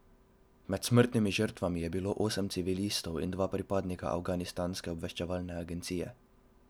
Med smrtnimi žrtvami je bilo osem civilistov in dva pripadnika afganistanske obveščevalne agencije.